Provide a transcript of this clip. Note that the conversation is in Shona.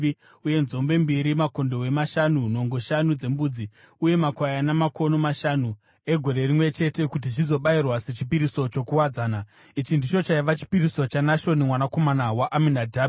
uye nzombe mbiri, makondobwe mashanu, nhongo shanu dzembudzi uye makwayana makono mashanu egore rimwe chete, kuti zvizobayirwa sechipiriso chokuwadzana. Ichi ndicho chaiva chipiriso chaNashoni mwanakomana waAminadhabhi.